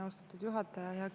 Austatud juhataja!